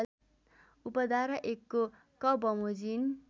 उपधारा १ को क बमोजिम